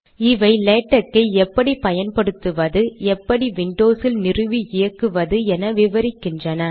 இவை லேடக் ஐ எப்படி பயன்படுத்துவதுஎப்படி விண்டோஸில் நிறுவி இயக்குவது என விவரிக்கின்றன